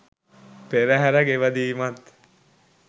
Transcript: පෙරහර ගෙවදීමත්